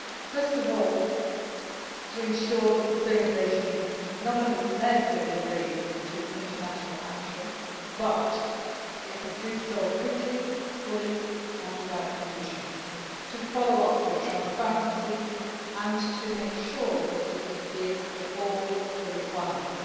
First of all, we need to ensure that the Syrian regime not only says it will agree to international action, but it must do so quickly, fully and without conditions, follow up with transparency and make sure that it adheres to all the requirements.